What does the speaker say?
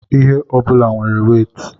ihe ọ bụla nwere wéétị